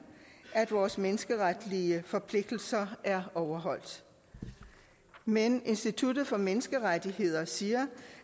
at vores menneskeretlige forpligtelser er overholdt men institut for menneskerettigheder siger